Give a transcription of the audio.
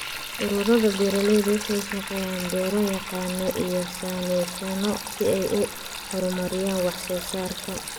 Ururada beeralayda waxay shaqaaleeyaan beero-yaqaano iyo saynisyahano si ay u horumariyaan wax soo saarka.